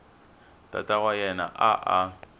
tata wa yena a a